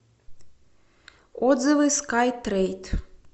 отзывы скай трейд